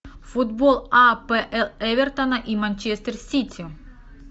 футбол апл эвертона и манчестер сити